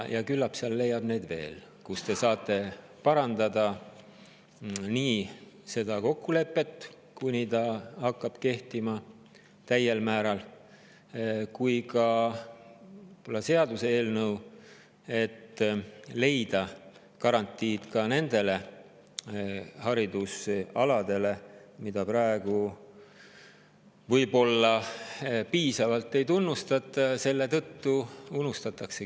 Küllap leiab neid veel, kus te saate seda kokkulepet parandada, enne kui ta täiel määral kehtima hakkab, ja ka seaduseelnõu, et leida garantiid ka nende haridusalade jaoks, mida praegu võib-olla piisavalt ei tunnustata ja selle tõttu ära unustatakse.